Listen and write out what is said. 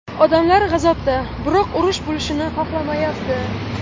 Odamlar g‘azabda, biroq urush bo‘lishini xohlamayapti.